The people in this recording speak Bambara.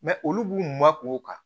olu b'u ma k'o kan